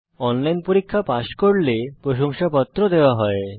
যারা অনলাইন পরীক্ষা পাস করে তাদের প্রশংসাপত্র দেয়